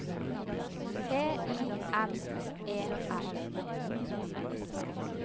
T I M E R